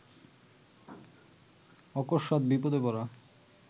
অকস্মাৎ বিপদে পড়া